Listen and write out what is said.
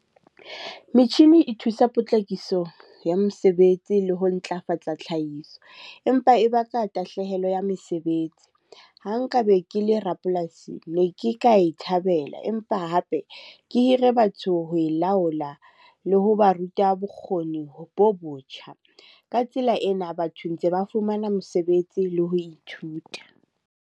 Metjhini e thusa potlakiso ya mesebetsi le ho ntlafatsa tlhahiso. Empa e baka tahlehelo ya mesebetsi. Ha nka be ke le rapolasi ne ke ka e thabela empa hape ke hire batho ho e laola le ho ba ruta bokgoni bo botjha. Ka tsela ena batho ntse ba fumana mosebetsi le ho ithuta.